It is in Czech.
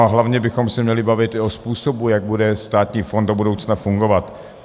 A hlavně bychom se měli bavit i o způsobu, jak bude státní fond do budoucna fungovat.